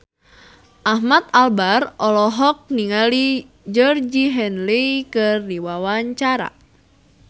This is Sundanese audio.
Ahmad Albar olohok ningali Georgie Henley keur diwawancara